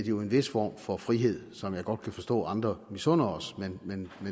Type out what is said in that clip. jo en vis form for frihed som jeg godt kan forstå at andre misunder os men